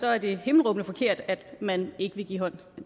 er det himmelråbende forkert at man ikke vil give hånd